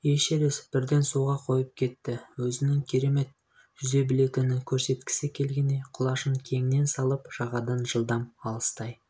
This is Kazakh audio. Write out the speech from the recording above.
эшерест бірден суға қойып кетті өзінің керемет жүз білетінін көрсеткісі келгендей құлашын кеңінен салып жағадан жылдам алыстай